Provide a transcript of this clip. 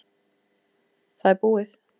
Það er búið.